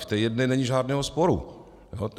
V té jedné není žádného sporu.